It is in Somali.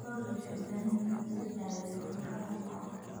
Lo'du waxay u baahan yihiin in laga daweeyo cudurrada xoolaha.